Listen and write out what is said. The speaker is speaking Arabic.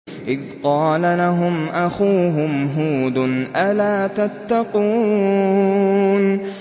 إِذْ قَالَ لَهُمْ أَخُوهُمْ هُودٌ أَلَا تَتَّقُونَ